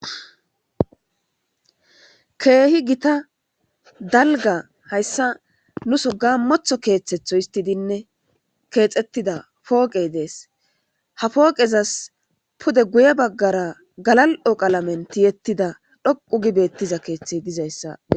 Keehi gita dalga hayssa nu so ga motho keeththetho histidinne keexettida pooqey dees ha pooqezas pude guye baggara galal7o qalamen tiyettida dhoqu gibettiza keeththey dizayssa.